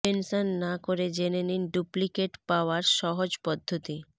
tension না করে জেনে নিন ডুপ্লিকেট পাওয়ার সহজ পদ্ধতি